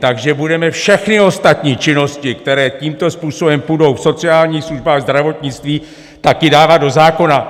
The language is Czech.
Takže budeme všechny ostatní činnosti, které tímto způsobem půjdou v sociální službách, zdravotnictví, taky dávat do zákona?